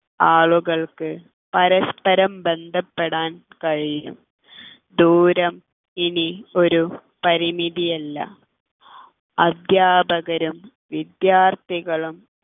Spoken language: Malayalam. ആളുകൾക്ക് പരസ്പരം ബന്ധപ്പെടാൻ കഴിയും ദൂരം ഇനി ഒരു പരിമിതി അല്ല അധ്യാപകരും വിദ്യാർത്ഥികളും